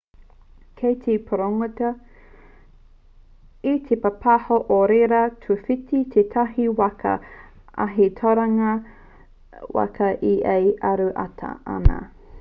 kei te pūrongotia e te pāpāho o reira i tūwhiti tētahi waka ahi tauranga waka i a ia e aro atu ana